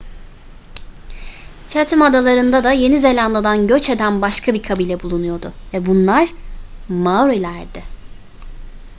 chatham adalarında da yeni zelanda'dan göç eden başka bir kabile bulunuyordu ve bunlar maorilerdi